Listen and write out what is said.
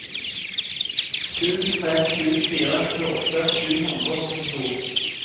sju tre sju fire tjueåtte sju hundre og førtito